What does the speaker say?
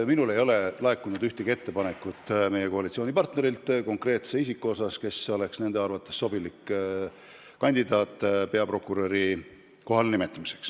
Minule ei ole meie koalitsioonipartnerilt laekunud ühtegi ettepanekut konkreetse isiku kohta, kes oleks nende arvates sobilik kandidaat peaprokuröri kohale.